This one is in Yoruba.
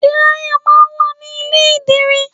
Dírayà máa ń wà ní ilé ìdìrí.